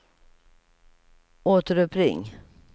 återuppring